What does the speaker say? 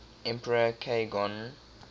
emperor k gon